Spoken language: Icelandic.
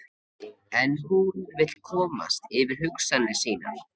En hún vill komast yfir hugsanir sínar.